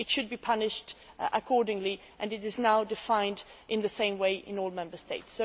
It should be punished accordingly and it is now defined in the same way in all Member States.